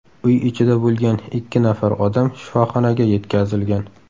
Uy ichida bo‘lgan ikki nafar odam shifoxonaga yetkazilgan.